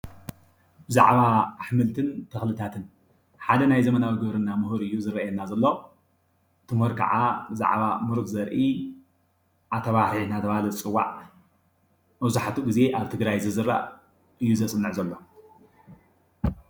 ብዛዕባ ኣሕምልትን ተኽልታትን ሓደ ናይ ዘበናዊ ግብርና ሙሁር እዩ ዝረኣየና ዘሎእቲ ሙሁር ክዓ ብዛዕባ ሙሩፅ ዘርኢ ዓተርባሕሪ እናተብሃለ ዝፅዋዕ መብዛሕቲኡ ግዜ ኣብ ትግራይ ዝዝራእ እዩ ዘፅንዕ ዘሎ።